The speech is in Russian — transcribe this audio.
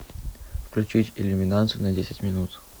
включить иллюминацию на десять минут